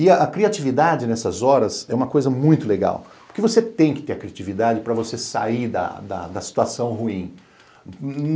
E a criatividade nessas horas é uma coisa muito legal, porque você tem que ter a criatividade para você sair da da situação ruim.